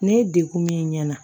Ne ye dekun min ɲɛna